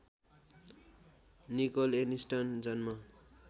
Nicol Aniston जन्म